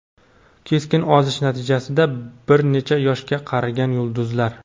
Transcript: Keskin ozish natijasida bir necha yoshga qarigan yulduzlar .